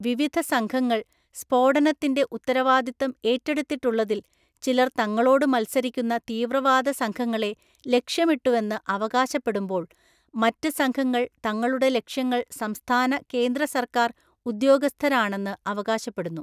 വിവിധ സംഘങ്ങള്‍ സ്ഫോടനത്തിന്‍റെ ഉത്തരവാദിത്തം ഏറ്റെടുത്തിട്ടുള്ളതില്‍ ചിലര്‍ തങ്ങളോട് മത്സരിക്കുന്ന തീവ്രവാദസംഘങ്ങളെ ലക്ഷ്യമിട്ടുവെന്ന് അവകാശപ്പെടുമ്പോള്‍ മറ്റ് സംഘങ്ങള്‍ തങ്ങളുടെ ലക്ഷ്യങ്ങൾ സംസ്ഥാന, കേന്ദ്ര സർക്കാർ ഉദ്യോഗസ്ഥരാണെന്ന് അവകാശപ്പെടുന്നു.